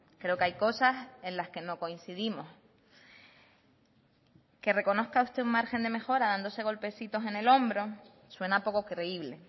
creo que hay cosas en las que no coincidimos que reconozca usted un margen de mejora dándose golpecitos en el hombro suena poco creíble